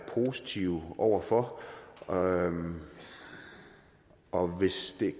positiv over for og og hvis det